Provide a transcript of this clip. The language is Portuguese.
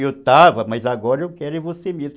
Eu estava, mas agora eu quero você mesmo.